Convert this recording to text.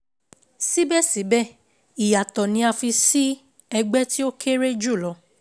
Síbẹ̀síbẹ̀, ìyàtọ̀ ni a fi sí ẹgbẹ́ tí o kéré jùlọ